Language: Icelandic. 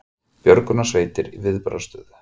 Björgunarsveitir í viðbragðsstöðu